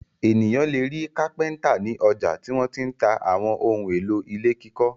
Ènìyàn le rí kápẹ́ńtà ní ọjà tí wọ́n ti ń ta àwọn ohun-èlò ilé kíkọ́.